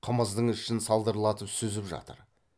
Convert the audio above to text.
қымыздың ішін салдырлатып сүзіп жатыр